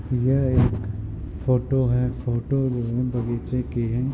यह एक फोटो है फोटो एक बगीचे की है।